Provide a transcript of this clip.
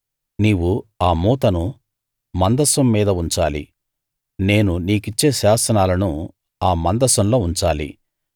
నీవు ఆ మూతను మందసం మీద ఉంచాలి నేను నీకిచ్చే శాసనాలను ఆ మందసంలో ఉంచాలి